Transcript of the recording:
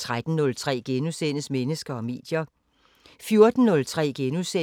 13:03: Mennesker og medier *